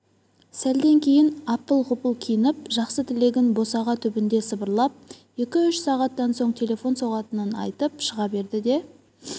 сәлден кейін апыл-ғұпыл киініп жақсы тілегін босаға түбінде сыбырлап екі-үш сағаттан соң телефон соғатынын айтып шыға берді де